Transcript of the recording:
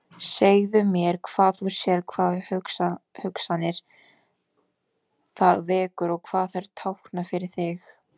Segðu mér hvað þú sérð, hvaða hugsanir það vekur og hvað þær tákna fyrir þig.